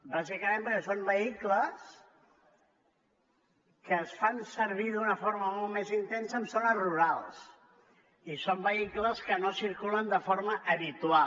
bàsicament perquè són vehicles que es fan servir d’una forma molt més intensa en zones rurals i són vehicles que no circulen de forma habitual